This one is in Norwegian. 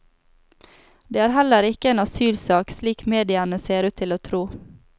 Det er heller ikke en asylsak, slik mediene ser ut til å tro.